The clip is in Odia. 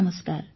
ନମସ୍କାର